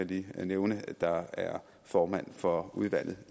lige nævne der er formand for udvalget